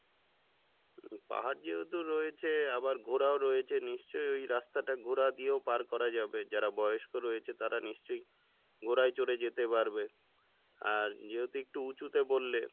পাহাড় যেহেতু রয়েছে আবার ঘোড়াও রয়েছে নিশ্চয় ওই রাস্তাটা ঘোড়া দিয়েও পার করা যাবে যাঁরা বয়স্ক রয়েছে তারা নিশ্চয় ঘোড়ায় চড়ে যেতে পারবে আর যেহেতু একটু উচুতে বললে,